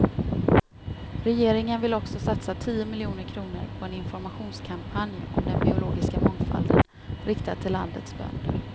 Regeringen vill också satsa tio miljoner kronor på en informationskampanj om den biologiska mångfalden, riktad till landets bönder.